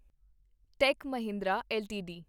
ਟੇਕ Mahindra LTD